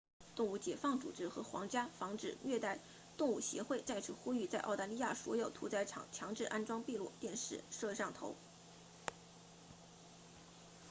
动物解放组织和皇家防止虐待动物协会 rspca 再次呼吁在澳大利亚所有屠宰场强制安装闭路电视摄像头